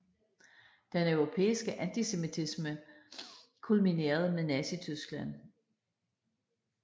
Den europæiske antisemitisme kulminerede med Nazityskland